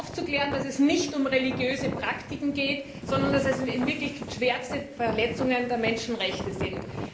Aufzuklären, dass es nicht um religiöse Praktiken geht, sondern dass es in Wirklichkeit schwerste Verletzungen der Menschenrechte sind.